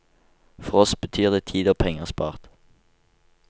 For oss betyr det tid og penger spart.